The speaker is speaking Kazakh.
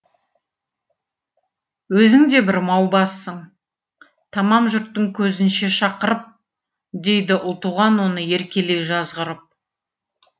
өзің де бір маубассың тамам жұрттың көзінше шақырып дейді ұлтуған оны еркелей жазғырып